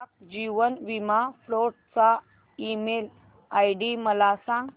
डाक जीवन बीमा फोर्ट चा ईमेल आयडी मला सांग